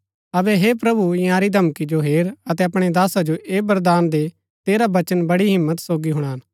अबै हे प्रभु इन्यारी धमकी जो हेर अतै अपणै दासा जो ऐह वरदान दे तेरा वचन बड़ी हिम्मत सोगी हुणान